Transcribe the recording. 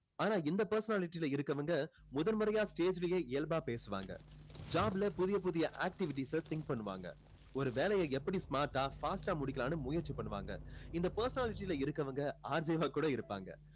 ஆனா இந்த personality ல இருக்கவங்க முதல் முறையா stage லயே இயல்பா பேசுவாங்க job ல புதிய புதிய activities அ think பண்ணுவாங்க ஒரு வேலைய எப்படி smart ஆ fast ஆ முடிக்கலாம்னு முயற்சி பண்ணுவாங்க இந்த personality ல இருக்கவங்க RJ ஆ கூட இருப்பாங்க